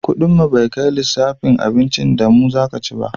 Kudin mu bai kai lissafin abincin da mu ka ci ba